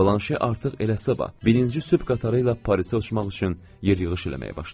Blanşe artıq elə sabah birinci sübh qatarı ilə Parisə uçmaq üçün yer yığış eləməyə başlayıb.